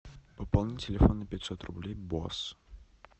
пополнить телефон на пятьсот рублей босс